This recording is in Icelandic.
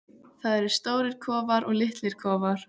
Það eru stórir kofar og litlir kofar.